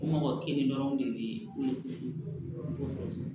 Mɔgɔ kelen dɔrɔnw de bɛ